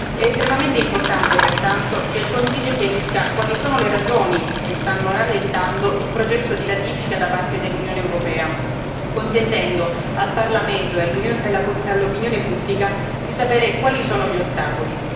È estremamente importante, pertanto, che il Consiglio chiarisca quali sono le ragioni che stanno rallentando il processo di ratifica da parte dell'Unione europea, consentendo al Parlamento e all'opinione pubblica di sapere quali sono gli ostacoli.